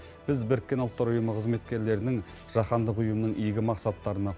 біз біріккен ұлттар ұйымы қызметкерлерінің жаһандық ұйымның игі мақсаттарына